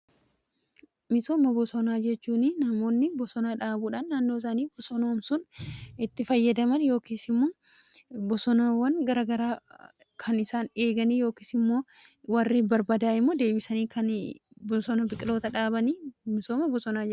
Misooma bosonaa jechuun namoonni bosona dhaabuudhaan naannoo isanii bosonoomsun itti fayyadaman yookiis immoo bosonawwan garagaraa kan isaan eeganii yookiis immoo warri barbaadaa'imoo deebisanii kan bosona biqiloota dhaabanii misooma bosonaa jedhama.